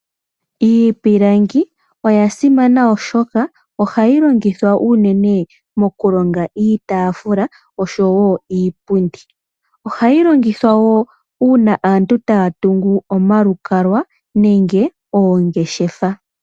Iipilangi oya simana, oshoka ohayi longithwa unene mokulonga iitaafula oshowo iipundi. Ohayi longithwa wo uuna aantu taya tungu omalukalwa nenge oongeshefa.